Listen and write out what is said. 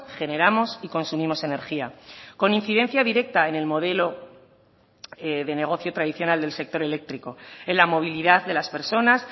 generamos y consumimos energía con incidencia directa en el modelo de negocio tradicional del sector eléctrico en la movilidad de las personas